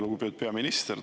Lugupeetud peaminister!